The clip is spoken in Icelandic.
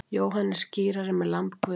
Jóhannes skírari með lamb Guðs.